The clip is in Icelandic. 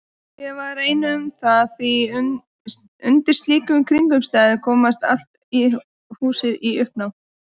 Ég var ekki ein um það því undir slíkum kringumstæðum komst allt húsið í uppnám.